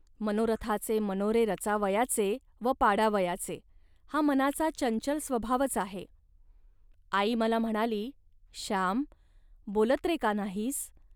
मनोरथाचे मनोरे रचावयाचे व पाडावयाचे, हा मनाचा चंचल स्वभावच आहे. आई मला म्हणाली, "श्याम, बोलत रे का नाहीस